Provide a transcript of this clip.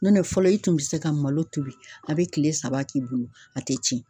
Nɔntɛ fɔlɔ i tun bɛ se ka malo tobi a bɛ kile saba k'i bolo a tɛ tiɲɛ.